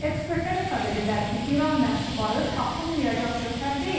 Ekspertlər hesab edirlər ki, İran məhsulları tapılmayacaq gövhər deyil.